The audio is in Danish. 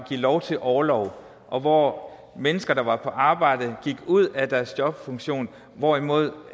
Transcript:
lov til orlov og hvor mennesker der var i arbejde gik ud af deres jobfunktion hvorimod